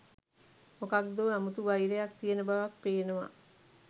මොකද්දෝ අමුතු වයිරයක් තියන බවක් පේනව